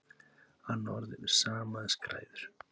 Annað orð yfir sama er skræður.